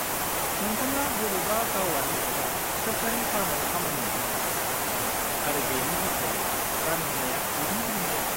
-नोंथाङा बबेबा गावारि एबा सोरखारि फार्माव खामानि मोन्नो हागौ, आरो बेनि बिथायै रां होनाया गुबुन गुबुन जायो।